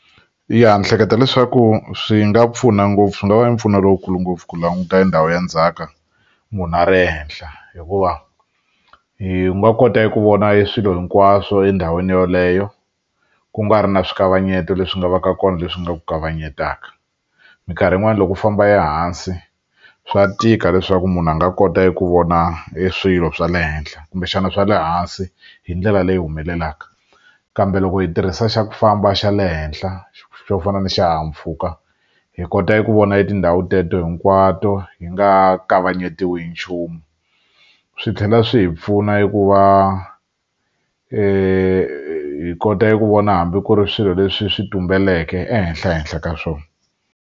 Ya ni ehleketa leswaku swi nga pfuna ngopfu swi nga va ni mpfuno lowukulu ngopfu ku languta hi ndhawu ya ndzhaka munhu a ri henhla hikuva yi nga kota eku vona hi eswilo hinkwaswo endhawini yoleyo ku nga ri na swi nkavanyeto leswi nga va ka kona leswi nga ku kavanyetaka minkarhi yin'wani loko u famba ehansi swa tika leswaku munhu a nga kota ku vona eswilo swa le henhla kumbexana swa le hansi hi ndlela leyi humelelaka kambe loko hi tirhisa xa ku famba xa le henhla xo fana na xihahampfhuka hi kota ku vona tindhawu teto hinkwato hi nga kavanyetiwi hi nchumu swi tlhela swi hi pfuna hi ku va hi kota eku vona hambi ku ri swilo leswi swi tumbeleke ehenhla ehenhla ka swona.